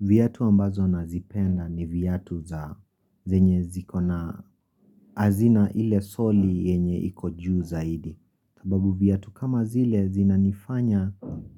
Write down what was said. Viatu ambazo nazipenda ni viatu za zenye zikona hazina ile soli yenye iko juu zaidi. Sababu viatu kama zile zinanifanya